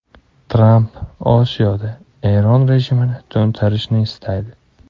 Tramp Osiyoda Eron rejimini to‘ntarishni istaydi.